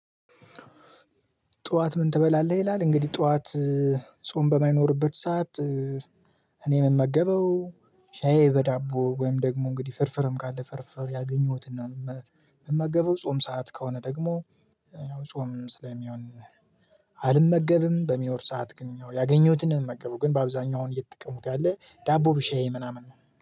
ጠዋት ምን ትበላለህ? ይላል እንግዲህ ጠዋት ጾም በማይኖርበት ሰዓት እኔ ምን ምመገበው ሻይ በዳቦ ወይም ደግሞ እንግዲህ ፍርፍርም ካለ ፍርፍር ያገኘሁትን ነው ምመገበው። ጾም ሰዓት ከሆነ ደግሞ ያው ጾም ስለሚሆን አልመገብም። በሚኖር ሰዓት ግን ያገኘሁትን ነው የምመገበው። ግን በአብዛኛው አሁን እየተጠቀሙት ያለ ዳቦ በሻይ ምናምን ነው።